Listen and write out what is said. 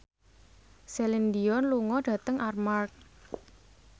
Celine Dion lunga dhateng Armargh